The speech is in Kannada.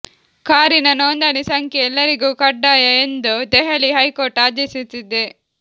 ಕಾರಿನ ನೋಂದಣಿ ಸಂಖ್ಯೆ ಎಲ್ಲರಿಗೂ ಕಡ್ಡಾಯ ಎಂದು ದೆಹಲಿ ಹೈಕೋರ್ಟ್ ಆದೇಶಿಸಿದೆ